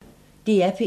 DR P1